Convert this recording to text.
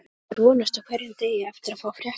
Maður vonast á hverjum degi eftir að fá fréttir.